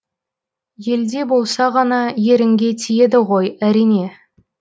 елде болса ғана ерінге тиеді ғой әрине